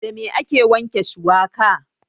Da me ake wanke shuwaka?